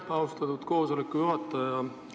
Aitäh, austatud istungi juhataja!